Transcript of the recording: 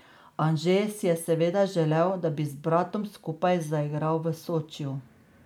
Anže si je seveda želel, da bi z bratom skupaj zaigral v Sočiju.